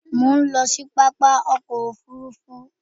Mò ń lọ sí pápákọ̀ òfurufú.